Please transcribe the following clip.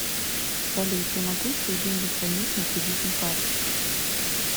салют я могу свои деньги хранить на кредитной карте